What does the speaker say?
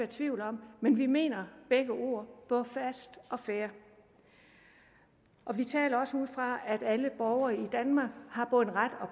tvivl om men vi mener begge ord både fast og fair og vi taler også ud fra at alle borgere i danmark har både en ret og